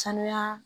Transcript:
Sanuya